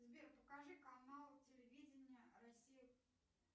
сбер покажи канал телевидения россия